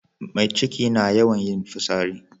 Mai ciki na yawan yin fotsari